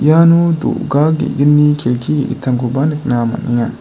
iano do·ga ge·gni kelki ge·gittamkoba nikna man·enga.